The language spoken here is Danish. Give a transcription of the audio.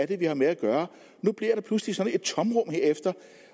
det er vi har med at gøre nu bliver der pludselig sådan et tomrum